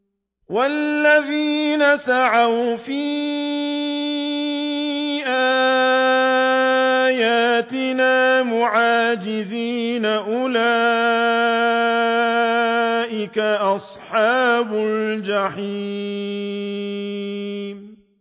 وَالَّذِينَ سَعَوْا فِي آيَاتِنَا مُعَاجِزِينَ أُولَٰئِكَ أَصْحَابُ الْجَحِيمِ